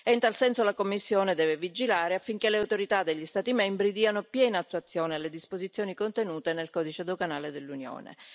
E in tal senso, la Commissione deve vigilare affinché le autorità degli Stati membri diano piena attuazione alle disposizioni contenute nel codice doganale dell'Unione.